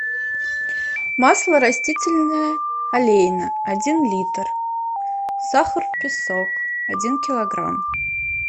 масло растительное олейна один литр сахар песок один килограмм